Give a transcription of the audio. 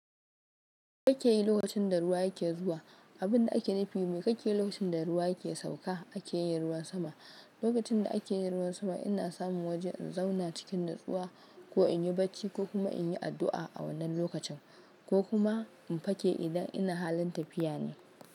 Me kake yi lokacin da ruwa yake zuwa, abinda ake nufi miƙaƙƙe lokacin da ruwa yake sauka ake yin ruwan sama. Lokacin da ake yin ruwan sama ina samun waje in zauna cikin natsuwa ko in yi bacci ko kuma in yi addu'a a wannan lokacin, ko kuma in fake idan ina halin tafiya ne.